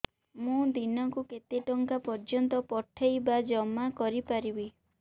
ମୁ ଦିନକୁ କେତେ ଟଙ୍କା ପର୍ଯ୍ୟନ୍ତ ପଠେଇ ବା ଜମା କରି ପାରିବି